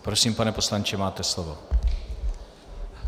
Prosím, pane poslanče, máte slovo.